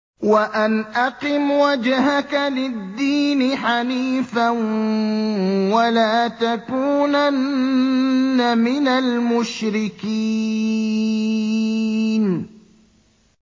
وَأَنْ أَقِمْ وَجْهَكَ لِلدِّينِ حَنِيفًا وَلَا تَكُونَنَّ مِنَ الْمُشْرِكِينَ